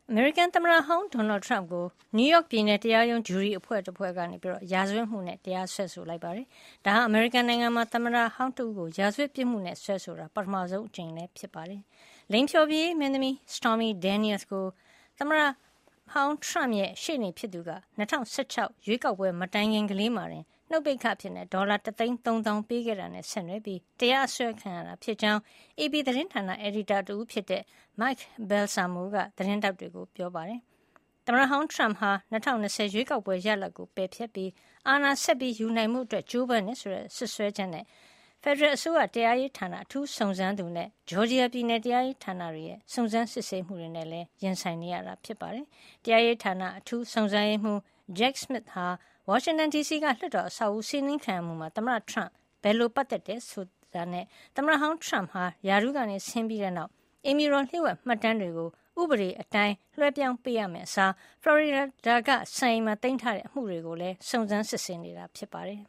အမေရိကန်သမ္မတဟောင်း ဒေါ်နယ်ထရမ့်ကို နယူးယောက်ပြည်နယ် တရားရုံး ဂျုရီအဖွဲ့တဖွဲ့က ရာဇဝတ်မှုနဲ့ တရားစွဲလိုက်ပါတယ်။ ဒါဟာ အမေရိကန်နိုင်ငံမှာ သမ္မတဟောင်း တဦးကို ရာဇဝတ်ပြစ်မှုနဲ့ စွဲဆိုတာ ပထမဆုံးအကြိမ်ဖြစ်ပါတယ်။ လိင်ဖျော်ဖြေရေး မင်းသမီး Stormy Daniels ကို ထရမ့်ရဲ့ ရှေ့နေဖြစ်သူက ၂၀၁၆ ရွေးကောက်ပွဲ မတိုင်ခင်လေးမှာတင် နှုတ်ပိတ်ခအဖြစ် ဒေါ်လာ (၁၃၀,၀၀၀)ပေးခဲ့တာနဲ့ ဆက်နွယ်ပြီး တရားစွဲခံရတာဖြစ်ကြောင်း AP သတင်းဌာန အယ်ဒီတာတဦးဖြစ်တဲ့ Mike Balsamo က သတင်းထောက်တွေကို ပြောပါတယ်။ သမ္မတဟောင်းထရမ့်ဟာ ၂၀၂၀ ရွေးကောက်ပွဲ ရလဒ်ကို ပယ်ဖျက်ပြီး အာဏာဆက်ယူနိုင်ဖို့ ကြိုးပမ်းတယ်ဆိုတဲ့ စွဲချက်နဲ့ ဖယ်ဒရယ်အစိုးရ တရားရေးဌာန အထူးစုံစမ်းသူနဲ့ Georgia ပြည်နယ် တရားရေးဌာနရဲ့ စုံစမ်းစစ်ဆေးမှုတွေကိုလည်း ရင်ဆိုင်နေရတာပါ။ တရားရေးဌာန အထူးစုံစမ်းရေးမှူး Jack Smith ဟာ ဝါရှင်တန်ဒီစီက လွှတ်တော်အဆောက်အအုံ စီးနင်းခံရမှုမှာ သမ္မတ Trump ဘယ်လို ပတ်သက်သလဲဆိုတာနဲ့ သမ္မတဟောင်း Trump ဟာ ရာထူးက ဆင်းပြီးနောက် အိမ်ဖြူတော် လျှို့ဝှက်မှတ်တမ်းတွေကို ဥပဒေအတိုင်း လွှဲပြောင်းပေးရမယ့်အစား ဖလော်ရီဒါ စံအိမ်မှာ သိမ်းဆည်းထားတဲ့ အမှုတွေကိုလည်း စုံစမ်းစစ်ဆေးနေတာ ဖြစ်ပါတယ်